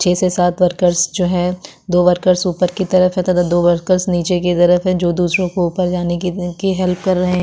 छे से सात वर्कर्स जो है दो वर्कर्स उपर की तरफ है तथा दो वर्कर्स निचे की तरफ है जो दूसरों को उपर जाने की इनकी हेल्प कर रहें हैं।